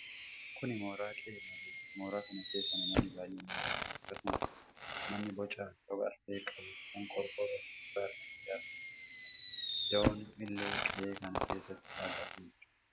Kun mooraa qe'ee baadiyyaati. Mooraa kana keessa namoonni baay'een ni argamu. Akkasumas manni boca rogafree qabu kan qorqorroo fi muka irraa ijaarame ni argama. Dawoon illee qe'ee kana keessatti dhaabatee jira.